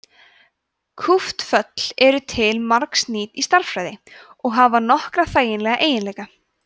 kúpt föll eru til margs nýt í stærðfræði og hafa nokkra þægilega eiginleika